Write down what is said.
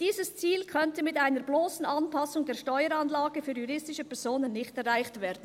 «Dieses Ziel könnte mit einer blossen Anpassung der Steueranlage für juristische Personen nicht erreicht werden.